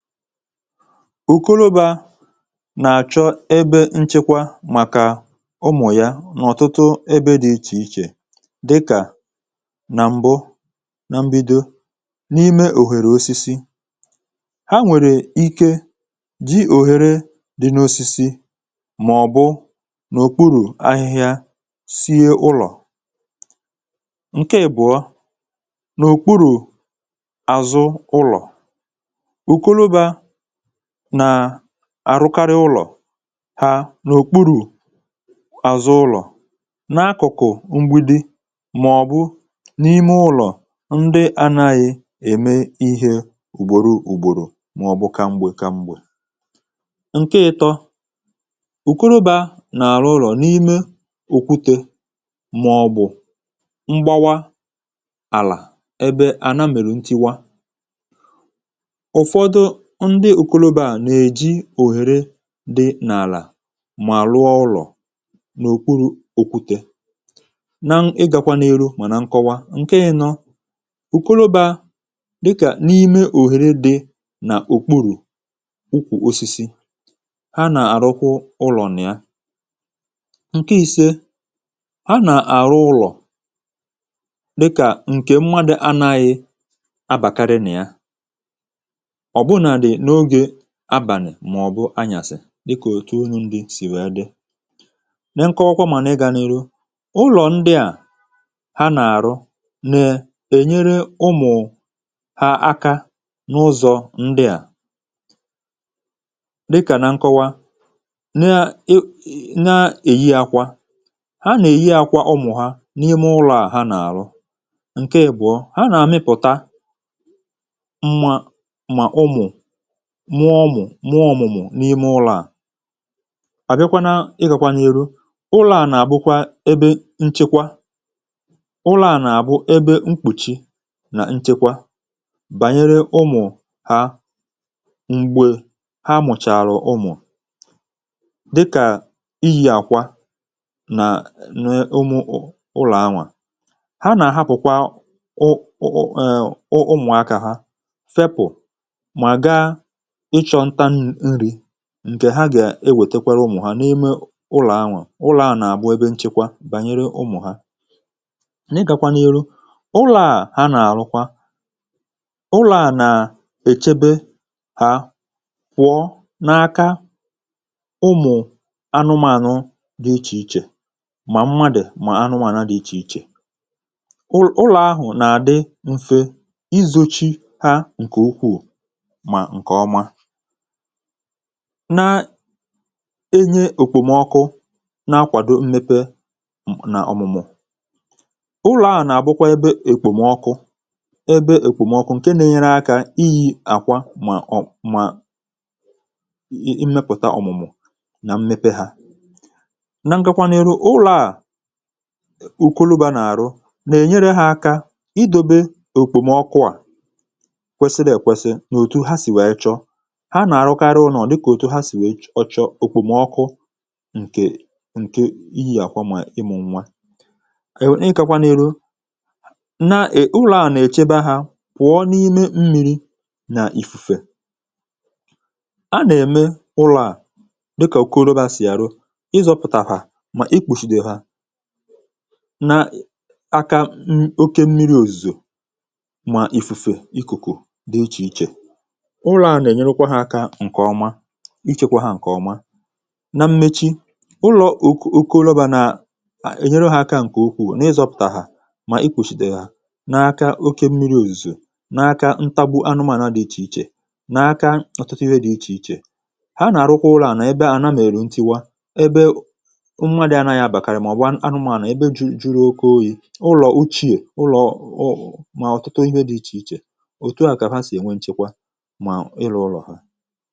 Okorobịa nà-àchọ ebe nchekwa màkà ụmụ̀ ya n’ọ̀tụtụ ebe dị̀ ichè ichè dịkà nà m̀bụ na mbido n’ime òhèrè osisi ha nwèrè ike dị òhèrè dị n’osisi mà ọ̀bụ n’òkpuru ahịhịa sie ulọ̀ ǹke èbụ̀ọ n’òkpuru àzụ ulọ̀ àrụkarị ụlọ̀ ha n’òkpuru̇ àzụ ụlọ̀ n’akụ̀kụ̀ mgbidi màọ̀bụ̀ n’ime ụlọ̀ ndị anaghị̇ ème ihe ùgbòro ùgbòrò màọ̀bụ̀ ka mgbė ka mgbė. ǹke ịtọ̇ ùkụrụbȧ nà-àrụ ụlọ̀ n’ime òkwute màọ̀bụ̀ mgbawa àlà ebe àna mèrè ntiwa ndị ùkologo à nà-èji òhèrè dị n’àlà mà rụọ ụlọ̀ n’òkpuru̇ òkwute na-ịgakwa n’elu mà na nkọwa ǹke nọ ùkologo à dịkà n’ime òhèrè dị nà òkpùrù ụkwụ osisi ha nà-àrụkwụ ụlọ̀ nà ya ǹke i̇sė ha nà-àrụ ụlọ̀ dịkà ǹkè mmadụ̀ anȧghị̇ abàkarị nà ya agbànà mà ọ̀ bụ anyàsị̀ dịkà otu unu̇ ndị sì wee dị na nke ọkwọkwȧ mà na ịgȧ n’elu̇ ụlọ̀ ndịà ha nà-àrụ nà-ènyere ụmụ̀ ha aka n’ụzọ̇ ndịà dịkà na nkọwa na èyi akwȧ ha nà-èyi akwȧ ụmụ̀ ha n’ime ụlọ̇ à ha nà-àrụ ǹkeèbùọ ha nà-àmịpụ̀ta mma mà ụmụ̀ mụọ mụọ mụmụ̀ n’ime ụlọ̀ à àbịakwa n’ịgàkwa n’eru ụlọ̀ à nà-àbụkwa ebe nchekwa ụlọ̀ à nà-àbụ ebe mkpùchi nà nchekwa bànyere ụmụ̀ ha m̀gbè ha mụ̀chàrà ụmụ̀ dịkà iyi̇ àkwa nà n’ụmụ̀ ụlọ̀ anwà ha nà-àhapụ̀kwa ụ ụmụ̀ akȧ ha fepụ̀ mà ga ǹkè ha gà-ewètekwara ụmụ̀ ha n’ime ụlọ̀ anwà ụlọ̀ à nà-àbụ ebe nchekwa bànyere ụmụ̀ ha na-ịgakwanụ ụlọ̀ à ha nà-àrụkwa ụlọ̀ à nà-èchebe hà kwụọ n’aka ụmụ̀ anụmanụ dị ichè ichè mà mmadị̀ mà anụmànụ dị ichè ichè ụlọ̀ ahụ̀ nà-àdị mfe izȯchi ha ǹkè ukwuù na enye òkwùmọkụ na-akwàdo mmepe n’ọ̀mụ̀mụ̀ ụlọ̀ a nà-àbụkwa ebe èkwùmọkụ ebe èkwùmọkụ ǹke nà-enyere akȧ iyi̇ àkwà mà ọ̀ mà ị mẹpụ̀ta ọ̀mụ̀mụ̀ nà mmepe hȧ na ngakwanù iro ụlọ̀ à òkolouba nà-àrụ nà-ènyere ha aka i dobe òkwùmọkụ à kwesi nà èkwesi nà òtù ha sì wèe chọ ha nà-àrụkarị ụnọ̀ dịkà òtu ha sì wèe chọọ òkwùmọ̀ ọkụ̇ ǹkè ǹke ihi̇ àkwa mà ịmụ̇ nwa èw ịkakwa n’elu na è ụlọ̇ a nà-èchebe ha pụọ n’ime mmi̇ri̇ nà ìfùfè a nà-ème ụlọ̇ a dịkà òkùrobe ha sì yàrụ ịzọ̇pụ̀tàhà mà ikpùshìdè ha na akȧ oke mmiri̇ òzìzò mà ìfùfè ikùkù dị ichè ichè ichėkwȧ hȧ ǹkè ọma na mmechi ụlọ̀ òkù oke ụlọ̀bà nà ènyere ha aka ǹkè ukwuù na ịzọ̇pụ̀tà hà mà ikwùchìtè hà n’aka oke mmiri̇ òzìzù n’aka ntagbù anụmànà dị ichè ichè n’aka ọ̀tụtụ ihe dị̇ ichè ichè ha nà àrụkwa ụlọ̀ ànà ebe àna mèrù ntiwa ebe ụmụ̇nwȧ dị̇ anȧ yȧ bàkàrị̀ màọ̀ba anụmànà ebe juru oke oyi̇ ụlọ̀ uchie, ụlọ̀ ọ mà ọ̀tụtụ ihe dị̇ ichè ichè òtù ahụ̀ kà fa sì ènwe nchekwa ha